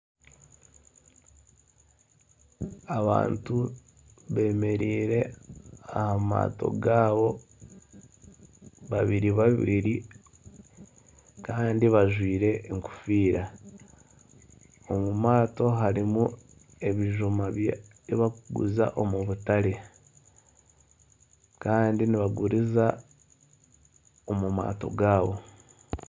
Abantu bemereire aha maato gaabo babiri babiri. Kandi bajwaire enkofiira. Omu maato harimu ebijuma ebi barikuguza omu butare. Kandi nibaguriza omu maato gaabo.